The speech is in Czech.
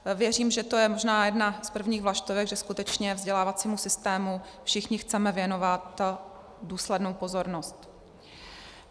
Věřím, že to je možná jedna z prvních vlaštovek, že skutečně vzdělávacímu systému všichni chceme věnovat důslednou pozornost.